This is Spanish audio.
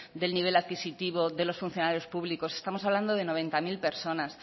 del nivel adquisitivo de los funcionarios públicos estamos hablando de noventa mil personas